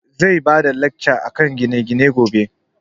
Zai bada lacca akan gine gine gobe